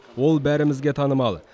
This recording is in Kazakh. ол бәрімізге танымал